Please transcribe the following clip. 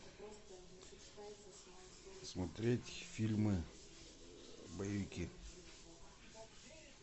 смотреть фильмы боевики